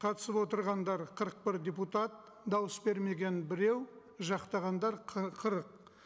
қатысып отырғандар қырық бір депутат дауыс бермеген біреу жақтағандар қырық